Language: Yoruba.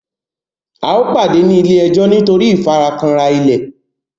ào pàdé ní ile-ejo nitori ìfarakanra ilẹ.